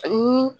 Ani